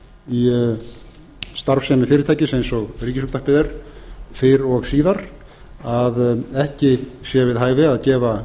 í starfsemi fyrirtækis eins og ríkisútvarpið er fyrr og síðar að ekki sé við hæfi að gefa